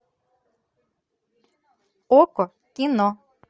окко кино